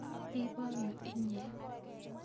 ibano inye?